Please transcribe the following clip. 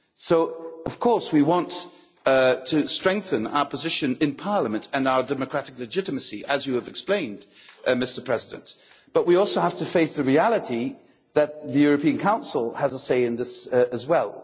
So of course we want to strengthen our position in Parliament and our democratic legitimacy, as you've explained, Mr President, but we also have to face the reality that the European Council has a say as well.